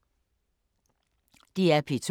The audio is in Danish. DR P2